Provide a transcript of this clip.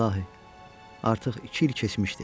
İlahi, artıq iki il keçmişdi.